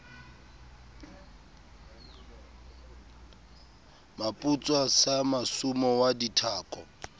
moputswa sa masumu wa dithako